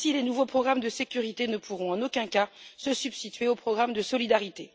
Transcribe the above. Ainsi, les nouveaux programmes de sécurité ne pourront en aucun cas se substituer aux programmes de solidarité.